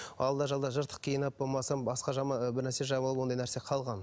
алда жалда жыртық киініп болмаса бірнәрсе жамылып ондай нәрсе қалған